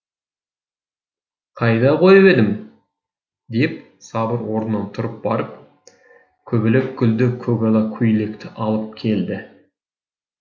қайда қойып едім деп сабыр орнынан тұрып барып көбелек гүлді көгала көйлекті алып келді